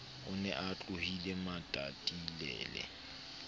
o ne a tlohile matatilele